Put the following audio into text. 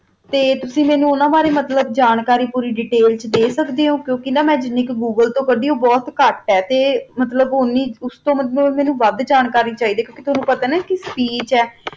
ਤਾ ਤੁਸੀਂ ਓਨਾ ਬਾਰਾ ਮੇਨੋ ਜਾਣਕਾਰੀ ਪੋਰੀ ਦੇਤੈਲ ਚ ਦਾ ਸਕਦਾ ਜਾ ਕੁ ਕਾ ਮਾ ਨਾ ਜਿਨੀ ਕੁ ਗੂਗਲੇ ਤੋ ਕਦੀ ਆ ਓਹੋ ਬੋਹਤ ਕਤ ਆ ਮੇਨੋ ਓਸ ਤੋ ਵਾਦ ਜਾਣਕਾਰੀ ਚੀ ਦੀ ਆ ਟੋਨੋ ਪਤਾ ਆ ਨਾ ਕਾ ਸਪੀਚ ਆ